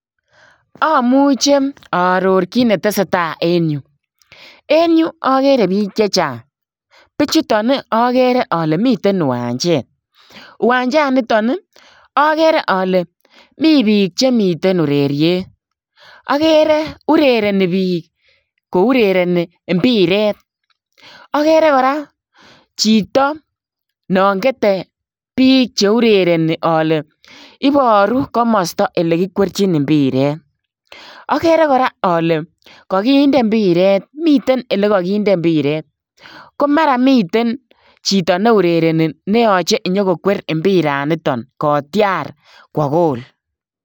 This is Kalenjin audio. Amuchei aaoror kiit ne tesetai en Yuu en agere biik chechaang bichutoo ii agere ale miten kiwanjeet uwanjaan nitoon ii agere ale Mii biik chemiten ureriet agere urerenie biik kourerenii mpireet agere kora chitoo naan getee biik cheureereni ale ibaruu komosta ale kikwerjiin mpireet agere kora ale kaginde mpireet miten ole kagindei mpireet ko mara miten chitoo neurerenii neyachei inyogokwer mpiraan nitoon kowaah [goal].